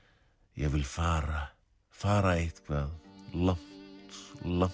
ég vil fara fara eitthvað langt langt